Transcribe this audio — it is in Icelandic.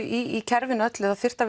í kerfinu öllu þyrfti